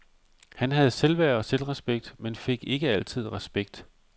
Han havde selvværd og selvrespekt, men fik ikke altid respekt.